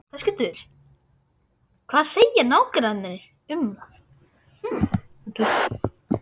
Höskuldur: Hvað segja nágrannarnir um það?